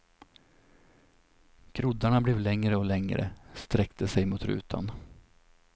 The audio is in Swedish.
Groddarna blev längre och längre, sträckte sig mot rutan.